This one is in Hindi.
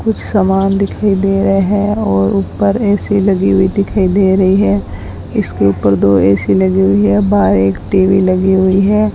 कुछ सामान दिखाई दे रहे हैं और ऊपर ए_सी लगी हुई दिखाई दे रही है इसके ऊपर दो ए_सी लगी हुई है बाहर एक टी_वी लगी हुई है।